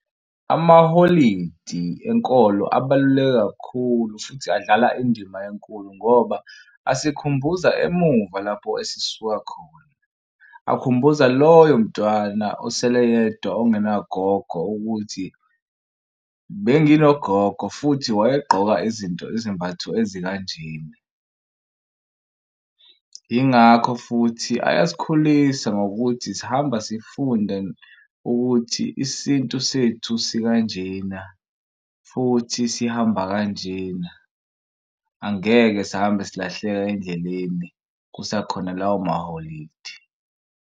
Amaholidi enkolo abaluleke kakhulu futhi adlala indima enkulu ngoba asikhumbuza emuva lapho esisuka khona. Akhumbuza loyo mntwana asele yedwa ongena gogo ukuthi benginogogo futhi wayesigqoka izinto izimbatho ezikanjena. Yingakho futhi ayasikhulisa ngokuthi sihamba sifunde ukuthi isintu sethu sikanjena futhi sihamba kanjena. Angeke sihambe silahleka endleleni kusakhona lawo maholidi.